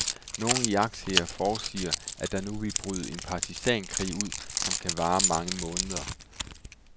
Nogle iagttagere forudsiger, at der nu vil bryde en partisankrig ud, som kan vare mange måneder.